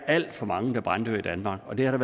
alt for mange der branddør i danmark og det har